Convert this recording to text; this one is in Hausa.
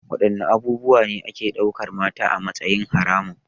Wadanne abubuwa ne ake daukar mata a matsayin haramun?